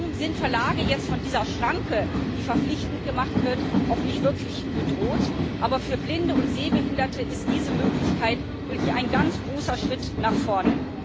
Darum sind Verlage jetzt von dieser Schranke, die verpflichtend gemacht wird, auch nicht wirklich bedroht, aber für Blinde und Sehbehinderte ist diese Möglichkeit ein ganz großer Schritt nach vorne.